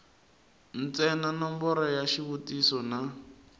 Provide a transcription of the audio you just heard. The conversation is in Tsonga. ntsena nomboro ya xivutiso na